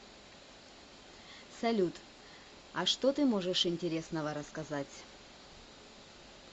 салют а что ты можешь интересного рассказать